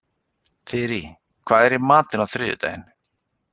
Þyri, hvað er í matinn á þriðjudaginn?